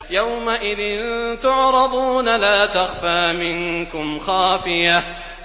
يَوْمَئِذٍ تُعْرَضُونَ لَا تَخْفَىٰ مِنكُمْ خَافِيَةٌ